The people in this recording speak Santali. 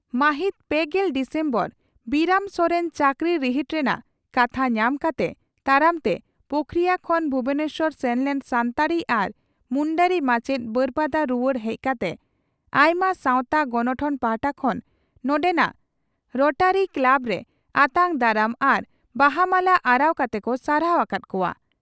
ᱢᱟᱹᱦᱤᱛ ᱯᱮᱜᱮᱞ ᱰᱤᱥᱮᱢᱵᱚᱨ ᱵᱤᱨᱟᱹᱢ ᱥᱚᱨᱮᱱ ᱪᱟᱹᱠᱨᱤ ᱨᱤᱦᱤᱴ ᱨᱮᱱᱟᱜ ᱠᱟᱛᱷᱟ ᱧᱟᱢ ᱠᱟᱛᱮ ᱛᱟᱲᱟᱢᱛᱮ ᱯᱳᱠᱷᱚᱨᱤᱭᱟᱹ ᱠᱷᱚᱱ ᱵᱷᱩᱵᱚᱱᱮᱥᱚᱨ ᱥᱮᱱ ᱞᱮᱱ ᱥᱟᱱᱛᱟᱲᱤ ᱟᱨ ᱢᱩᱱᱰᱟᱹᱨᱤ ᱢᱟᱪᱮᱛ () ᱵᱟᱹᱨᱯᱟᱫᱟ ᱨᱩᱣᱟᱹᱲ ᱦᱮᱡ ᱠᱟᱛᱮ ᱟᱭᱢᱟ ᱥᱟᱣᱛᱟ ᱜᱚᱱᱚᱴᱷᱚᱱ ᱯᱟᱦᱴᱟ ᱠᱷᱚᱱ ᱱᱚᱰᱮᱱᱟᱜ ᱨᱚᱴᱟᱨᱤ ᱠᱞᱟᱵᱽᱨᱮ ᱟᱛᱟᱝ ᱫᱟᱨᱟᱢ ᱟᱨ ᱵᱟᱦᱟ ᱢᱟᱞᱟ ᱟᱨᱟᱣ ᱠᱟᱛᱮ ᱠᱚ ᱥᱟᱨᱦᱟᱣ ᱟᱠᱟᱫ ᱠᱚᱜᱼᱟ ᱾